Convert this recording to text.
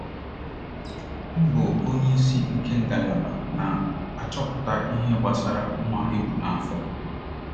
Ọ bụ onyeisi nke ngalaba na - achọpụta ihe gbasara nwa e bu n’afọ.